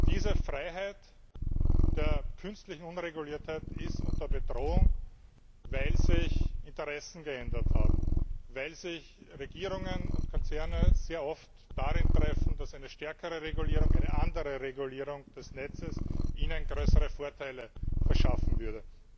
Diese Freiheit der künstlichen Unreguliertheit ist bedroht, weil sich Interessen geändert haben, weil sich Regierungen und Konzerne sehr oft darin einig sind, dass eine stärkere Regulierung, eine andere Regulierung des Netzes ihnen größere Vorteile verschaffen würde.